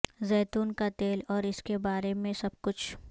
زیتون کا تیل اور اس کے بارے میں سب کچھ